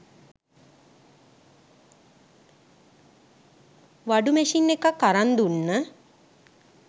වඩු machine එකක් අරං දුන්න